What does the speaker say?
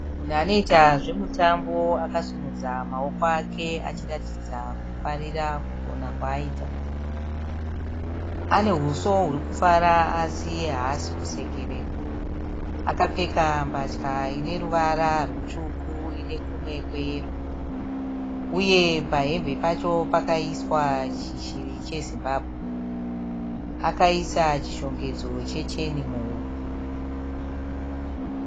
Munhu anoita zvemutambo akasimudza maoko ake achiratidza kufarira kugona kwaaita. Ane huso huri kufara asi haasi kusekerera. Akapfeka mbatya ine ruvara rutsvuku ine kumwe kweyero uye pahembe pacho pakaiswa chishiri cheZimbabwe. Akaisa chishongedzo checheni muhuro.